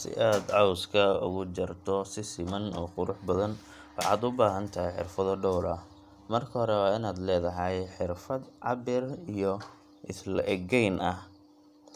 Si aad cawska ugu jarto si siman oo qurux badan, waxaad u baahan tahay xirfado dhowr ah. Marka hore, waa inaad leedahay xirfad cabbir iyo is le'egayn ah,